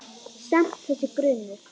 Samt- þessi grunur.